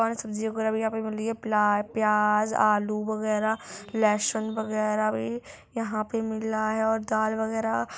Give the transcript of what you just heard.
और सब्जियां वगैरा भी यहाँ पे मिल रही है प्याज आलू वैगेरा लहसुन वगैरा भी यहाँ पे मिल रहा है और दाल वगैरा--